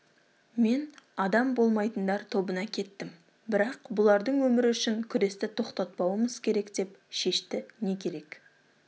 мен адам болмайтындар тобына кеттім бірақ бұлардың өмірі үшін күресті тоқтатпауымыз керек деп шешті не керек